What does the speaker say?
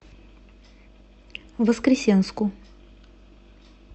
воскресенску